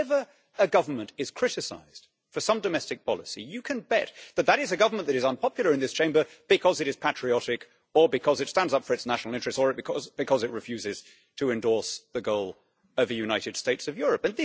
Whenever a government is criticised for some domestic policy, you can bet that it is a government that is unpopular in this Chamber because it is patriotic, or because it stands up for its national interests, or because it refuses to endorse the goal of the United States of Europe.